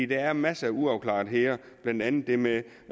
der er masser af uafklaretheder blandt andet det med